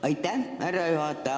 Aitäh, härra juhataja!